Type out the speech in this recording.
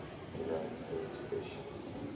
united states fish